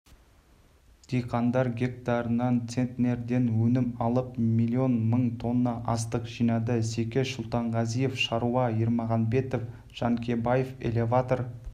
диқандар гектарынан центнерден өнім алып миллион мың тонна астық жинады секеш сұлтанғазинов шаруа ермағанбет жанкебаев элеватор